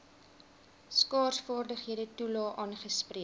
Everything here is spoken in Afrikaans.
skaarsvaardighede toelae aangespreek